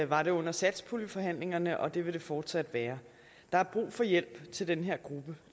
var det under satspuljeforhandlingerne og det vil det fortsat være der er brug for hjælp til den her gruppe